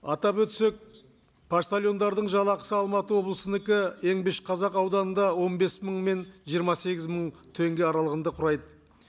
атап өтсек поштальондардың жалақысы алматы облысынікі еңбекшіқазақ ауданында он бес мың мен жиырма сегіз мың теңге аралығында құрайды